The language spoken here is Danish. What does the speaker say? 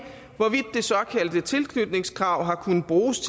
hvorvidt det såkaldte tilknytningskrav har kunnet bruges